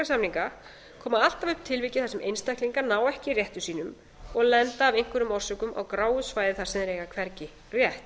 samninga koma alltaf upp tilvik þar sem einstaklingar ná ekki rétti sínum og lenda af einhverjum orsökum á gráu svæði þar sem þeir eiga hvergi rétt